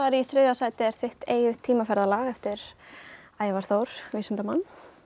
í þriðja sæti er þitt eigið tímaferðalag eftir Ævar Þór vísindamann